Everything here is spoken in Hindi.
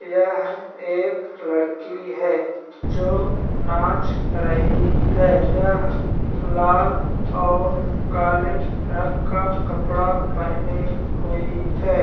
यह एक लड़की है जो नाच रही है यह लाल और काले रंग का कपड़ा पहने हुई है।